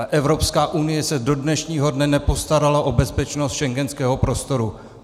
A Evropská unie se do dnešního dne nepostarala o bezpečnost schengenského prostoru.